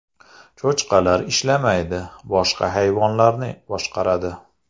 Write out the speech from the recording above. Cho‘chqalar ishlamaydi, boshqa hayvonlarni boshqaradi.